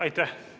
Aitäh!